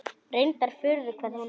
Reyndar furða hvað hún er.